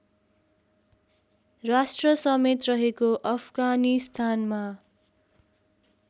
राष्ट्रसमेत रहेको अफगानिस्तानमा